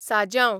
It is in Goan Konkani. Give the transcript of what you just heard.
साजांव